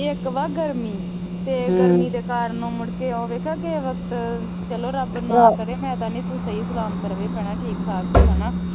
ਇੱਕ ਵਾ ਗਰਮੀ ਤੇ ਗਰਮੀ ਦੇ ਕਾਰਨ ਮੁੜ ਕੇ ਉਹ ਵੇਖਿਆ ਕਿਹੇ ਵਕਤ ਚਲੋ ਰਬ ਨਾ ਕਰੇ ਮੈ ਕਹਿੰਦੀ ਸਹੀ ਸਲਾਮਤ ਰਹੇ ਭੈਣਾਂ ਠੀਕ ਠਾਕ ਹੀ ਹਨਾ